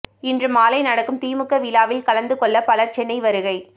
இன்று மாலை நடக்கும் திமுக விழாவில் கலந்து கொள்ள பலர் சென்னை வருகை